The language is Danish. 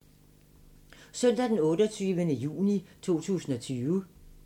Søndag d. 28. juni 2020